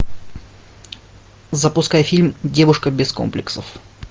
запускай фильм девушка без комплексов